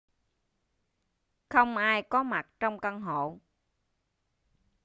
không ai có mặt trong căn hộ